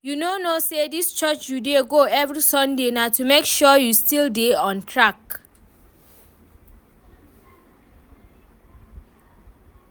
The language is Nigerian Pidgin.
You no know say dis church you dey go every sunday na to make sure you still dey on track